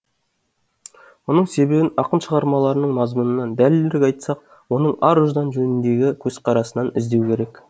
мұның себебін ақын шығармаларының мазмұнынан дәлірек айтсақ оның ар ұждан жөніндегі көзқарасынан іздеу керек